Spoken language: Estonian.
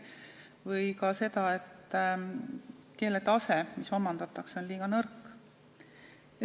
Või ka see arvamus, et keeletase, mis seal omandatakse, on liiga nõrk.